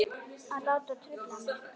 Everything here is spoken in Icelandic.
Að láta trufla mig.